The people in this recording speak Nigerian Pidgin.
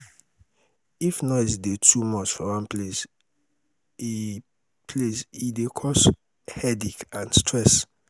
if noise dey too much for one place e place e dey cos headache and stress